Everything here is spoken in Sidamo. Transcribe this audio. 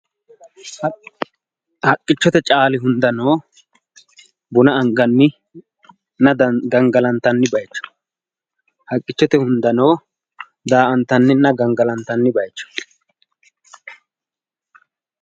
Haqqichote caali hunda no buna anganni gangalantanni bayiicho, haqqichote hunda no daa"antannina gangalatanni bayiicho.